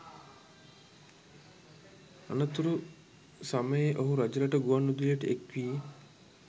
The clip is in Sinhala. අනතුරු සමයේ ඔහු රජරට ගුවන් විදුලියට එක්වී